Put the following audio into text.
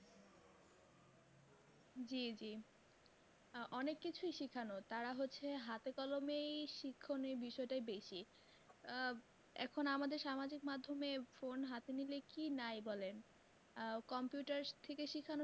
জি জি অনেক কিছু শেখানো তারা হচ্ছে হাত কলমেই শিক্ষণীয় বিষয়টা বেশি আহ এখন আমাদের সামাজিক মাধ্যমে phone হাতে নিলে কী নাই বলেন। আ compouter থেকে শিখানো